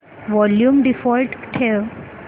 volume default ठेव